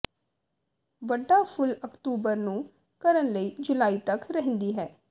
ਵੱਡਾ ਫੁੱਲ ਅਕਤੂਬਰ ਨੂੰ ਕਰਨ ਲਈ ਜੁਲਾਈ ਤੱਕ ਰਹਿੰਦੀ ਹੈ